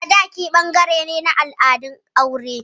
Sadaki ɓangare ne na al'adun aure.